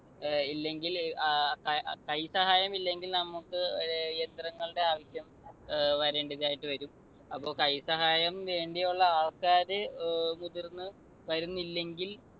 ഇല്ലെങ്കിൽ അഹ് കൈസഹായം ഇല്ലെങ്കിൽ നമുക്ക് ഏർ യന്ത്രങ്ങളുടെ ആവശ്യം വരേണ്ടതായിട്ട് വരും. അപ്പൊ കൈസഹായം വേണ്ടിയുള്ള ആൾക്കാർ മുതിർന്നു വരുന്നില്ലെങ്കിൽ